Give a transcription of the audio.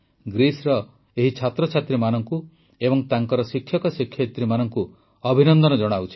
ଗ୍ରୀସର ଏହି ଛାତ୍ରଛାତ୍ରୀମାନଙ୍କୁ ଏବଂ ତାଙ୍କ ଶିକ୍ଷକଶିକ୍ଷୟିତ୍ରୀମାନଙ୍କୁ ଅଭିନନ୍ଦନ ଜଣାଉଛି